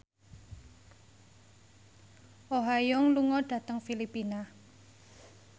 Oh Ha Young lunga dhateng Filipina